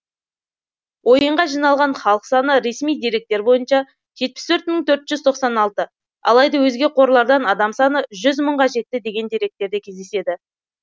ойынға жиналған халық саны ресми деректер бойынша жетпіс төрт мың төрт жүз тоқсан алты алайда өзге қорлардан адам саны жүз мыңға жетті деген деректерде кездеседі